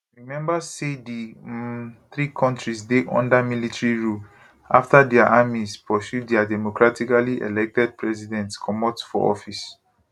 remember say di um three kontris dey under military rule afta dia armies pursue dia democratically elected presidents comot for office